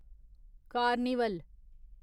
carnival